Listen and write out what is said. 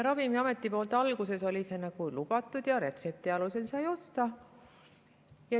Ravimiameti poolt oli see alguses lubatud ja retsepti alusel sai seda osta.